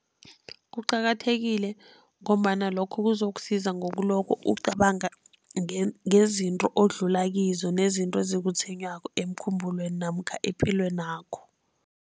Kuqakathekile ngombana lokho kuzokusiza ngokuloko ucabanga ngezinto odlula kizo nezinto ezikutshwenyako emkhumbulweni namkha epilwenakho.